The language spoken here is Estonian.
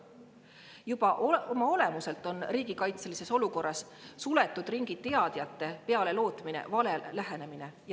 Juba oma olemuselt on riigikaitselistes suletud ringi teadjate peale lootmine vale lähenemine.